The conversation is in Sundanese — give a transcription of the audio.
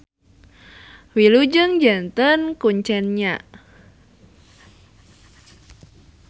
Wilujeng janten kuncen nya.